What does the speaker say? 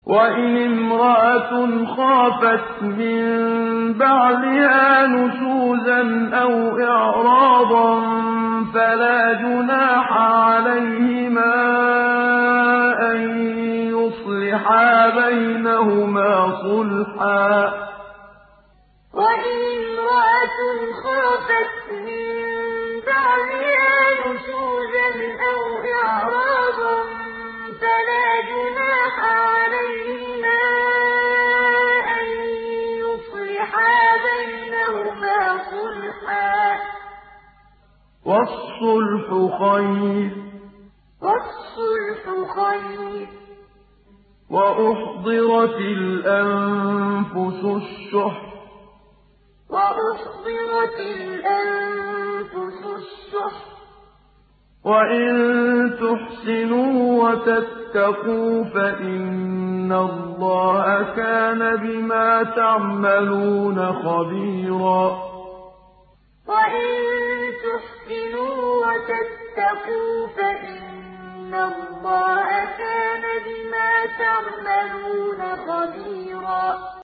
وَإِنِ امْرَأَةٌ خَافَتْ مِن بَعْلِهَا نُشُوزًا أَوْ إِعْرَاضًا فَلَا جُنَاحَ عَلَيْهِمَا أَن يُصْلِحَا بَيْنَهُمَا صُلْحًا ۚ وَالصُّلْحُ خَيْرٌ ۗ وَأُحْضِرَتِ الْأَنفُسُ الشُّحَّ ۚ وَإِن تُحْسِنُوا وَتَتَّقُوا فَإِنَّ اللَّهَ كَانَ بِمَا تَعْمَلُونَ خَبِيرًا وَإِنِ امْرَأَةٌ خَافَتْ مِن بَعْلِهَا نُشُوزًا أَوْ إِعْرَاضًا فَلَا جُنَاحَ عَلَيْهِمَا أَن يُصْلِحَا بَيْنَهُمَا صُلْحًا ۚ وَالصُّلْحُ خَيْرٌ ۗ وَأُحْضِرَتِ الْأَنفُسُ الشُّحَّ ۚ وَإِن تُحْسِنُوا وَتَتَّقُوا فَإِنَّ اللَّهَ كَانَ بِمَا تَعْمَلُونَ خَبِيرًا